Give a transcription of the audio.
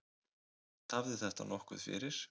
Tafði þetta nokkuð fyrir.